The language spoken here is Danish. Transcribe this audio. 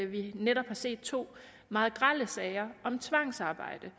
vi netop har set to meget grelle sager om tvangsarbejde